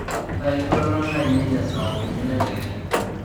intayu iltwalan lainei lee saa uni entadekenya